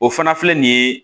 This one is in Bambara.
O fana filɛ nin ye